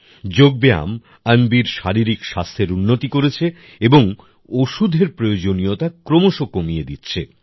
যোগব্যায়াম অন্বির শারীরিক স্বাস্থ্যের উন্নতি করেছে এবং ওষুধের প্রয়োজনীয়তা ক্রমশ কমিয়ে দিচ্ছে